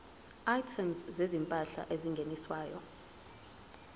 items zezimpahla ezingeniswayo